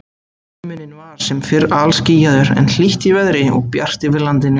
Himinn var sem fyrr alskýjaður, en hlýtt í veðri og bjart yfir landinu.